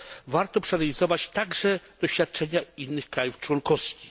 Warto przeanalizować także doświadczenia innych państwa członkowskich.